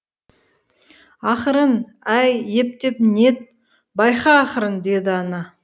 ақырын әй ептеп нет байқа ақырын деді ана